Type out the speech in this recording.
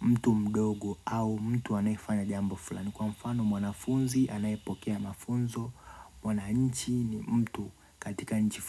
mtu mdogo, au mtu anayefanya jambo fulani, kwa mfano, mwanafunzi anayepokea mafunzo Mwananchi ni mtu, katika nchi fulani.